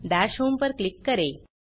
दश होम पर क्लिक करें